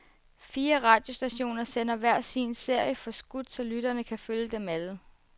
Fire radiostationer sender hver sin serie, forskudt så lytterne kan følge dem alle.